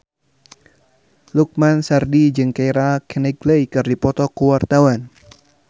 Lukman Sardi jeung Keira Knightley keur dipoto ku wartawan